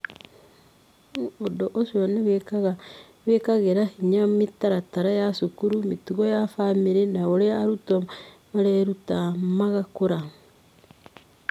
Ũndũ ũcio nĩ wĩkagĩra hinya mĩtaratara ya cukuru, mĩtugo ya famĩrĩ, na ũrĩa arutwo mareruta na magakũra.